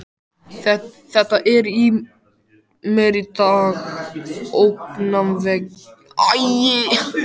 Þetta er mér í dag ógnvekjandi tilhugsun.